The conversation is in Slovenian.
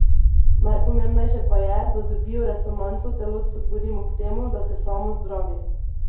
Najpomembnejše pa je, da z bioresonanco telo spodbudimo k temu, da se samo zdravi.